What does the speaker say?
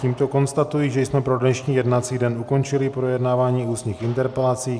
Tímto konstatuji, že jsme pro dnešní jednací den ukončili projednávání ústních interpelací.